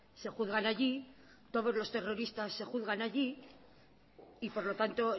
se juzgan allí todos los terroristas se juzgan allí y por lo tanto